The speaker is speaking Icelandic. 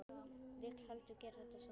Vil heldur gera þetta svona.